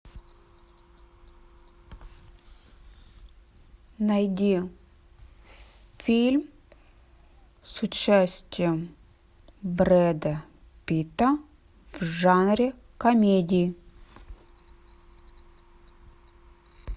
найди фильм с участием брэда питта в жанре комедии